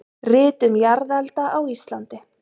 Rit um jarðelda á Íslandi.